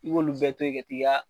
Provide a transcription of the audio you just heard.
I b'olu bɛɛ toyi ka t'i ka.